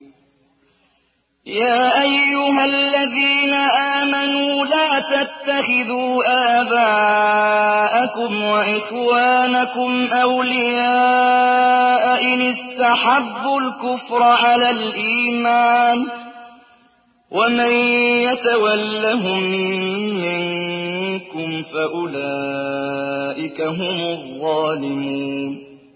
يَا أَيُّهَا الَّذِينَ آمَنُوا لَا تَتَّخِذُوا آبَاءَكُمْ وَإِخْوَانَكُمْ أَوْلِيَاءَ إِنِ اسْتَحَبُّوا الْكُفْرَ عَلَى الْإِيمَانِ ۚ وَمَن يَتَوَلَّهُم مِّنكُمْ فَأُولَٰئِكَ هُمُ الظَّالِمُونَ